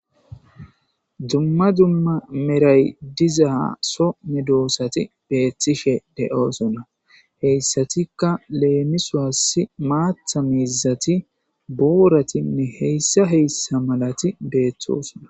dumma dumma meray dizaa so me doosati beethtishe de7oosona heyssatikka leemisuasi maatha miizati booratinne heyssa heyssa malati beeththoosona